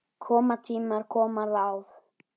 Koma tímar, koma ráð.